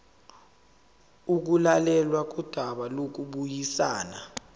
ukulalelwa kodaba lokubuyisana